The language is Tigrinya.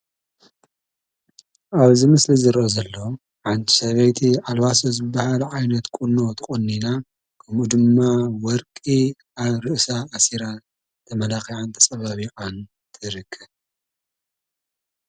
ኣብዚ ምስሊ ዝረአ ዘሎ ሓንቲ ሰበይቲ ኣልባሶ ዝባሃል ዓይነት ቁኖ ተቆኒና ከምኡ ድማ ወርቂ ኣብ ርእሳ ኣሲራ ተመላኺዓን ተፀባቢቃን ትርከብ።